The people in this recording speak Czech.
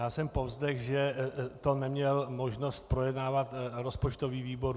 Já jsem povzdechl, že to neměl možnost projednávat rozpočtový výbor.